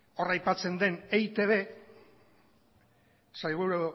hor aipatzen den eitb sailburu